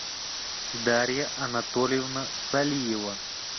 дарья анатольевна салиева